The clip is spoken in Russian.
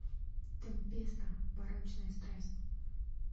темпеста порочная страсть